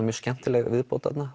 mjög skemmtileg viðbót þarna